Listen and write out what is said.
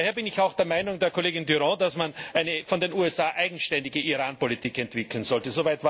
Daher bin ich auch der Meinung der Kollegin Durant, dass man eine von den USA unabhängige Iran Politik entwickeln sollte.